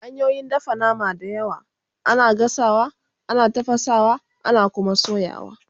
hanyoyin dafa nama na da yawa, ana gasawa, ana tafasawa, ana Kuma soyawa